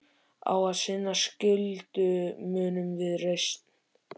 Á að sinna skyldu mínum með reisn.